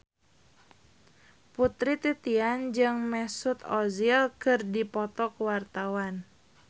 Putri Titian jeung Mesut Ozil keur dipoto ku wartawan